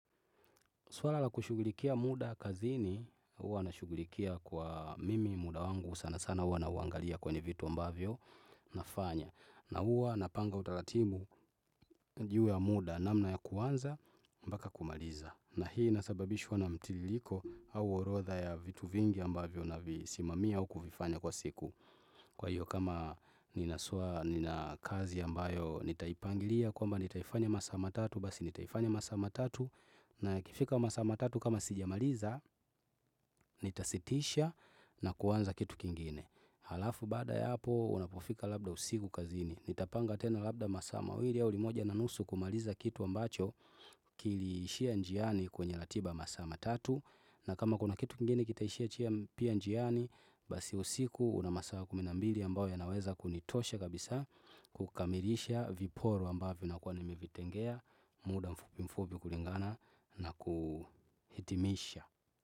Swala la kushugulikia muda kazini huwa nashugulikia kwa mimi muda wangu sana sana huwa nauangalia kwenye vitu ambavyo nafanya. Na huwa napanga utaratibu juu ya muda namna ya kuanza mpaka kumaliza. Na hii inasababishwa na mtiririko au orodha ya vitu vingi ambavyo navisimamia au kuvifanya kwa siku. Kwa hiyo kama nina kazi ambayo nitaipangilia kwamba nitaifanya masaa matatu basi nitaifanya masaa matatu, na yakifika masaa matatu kama sijamaliza, nitasitisha na kuanza kitu kingine. Halafu baada ya hapo, unapofika labda usiku kazini, nitapanga tena labda masaa mawili au limoja na nusu kumaliza kitu ambacho kiliishia njiani kwenye ratiba ya masaa matatu. Na kama kuna kitu kingine kitaishia pia njiani, basi usiku una masaa kumi na mbili ambayo yanaweza kunitosha kabisa kukamilisha viporo ambavyo nakuwa nimevitengea muda mfupi mfupi kulingana na kuhitimisha.